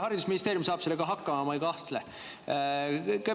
Haridusministeerium saab sellega hakkama, ma ei kahtle.